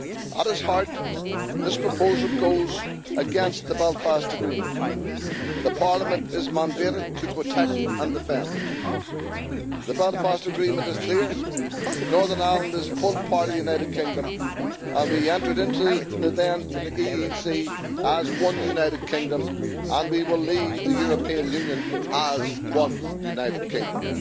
At its heart, this proposal goes against the Belfast Agreement the Parliament is mandated to protect and defend. The Belfast Agreement is clear Northern Ireland is a full part of the United Kingdom, and we entered into the then EEC as one United Kingdom and we will leave the European Union as one United Kingdom.